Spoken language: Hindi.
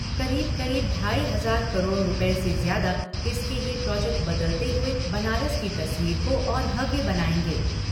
करीब करीब ढाई हज़ार करोड़ रुपये से ज्यादा इसके यह प्रोजेक्ट बदलते हुए बनारस की तस्वीर को और भव्य बनाएंगे।